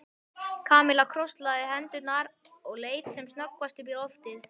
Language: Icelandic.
Kamilla krosslagði hendurnar og leit sem snöggvast upp í loftið.